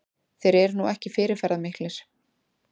Þeir eru nú ekki fyrirferðarmiklir